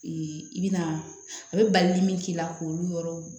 i bɛna a bɛ balili min k'i la k'olu yɔrɔ